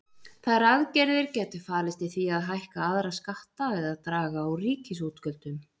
Þær aðgerðir gætu falist í því að hækka aðra skatta eða draga úr ríkisútgjöldum.